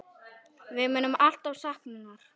Við munum alltaf sakna hennar.